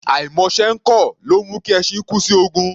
Àìmọṣẹ́ ẹ́ kọ̀, ló ńmú kí ẹṣin kú sí ogun.